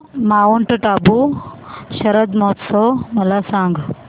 Mount Abu शरद महोत्सव मला सांग